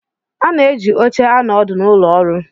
A na-eji oche anọ ọdụ n'ụlọ ọrụ.